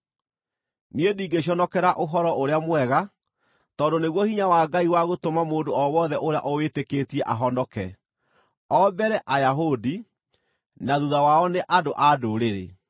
Niĩ ndingĩconokera Ũhoro-ũrĩa-Mwega, tondũ nĩguo hinya wa Ngai wa gũtũma mũndũ o wothe ũrĩa ũwĩtĩkĩtie ahonoke: O mbere Ayahudi, na thuutha wao nĩ andũ-a-Ndũrĩrĩ.